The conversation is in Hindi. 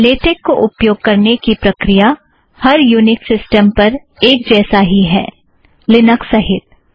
लेटेक को उपयोग करने की प्रक्रिया हर यूनिक्स सिस्टम पर एक जैसा ही है लिनक्स सहीत